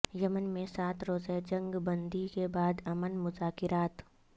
یمن میں سات روزہ جنگ بندی کے بعد امن مذاکرات